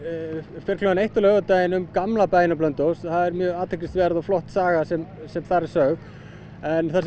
fer klukkan eitt á laugardaginn um gamla bæinn á Blönduósi það er mjög athyglisverð og flott saga sem sem þar er sögð en það sem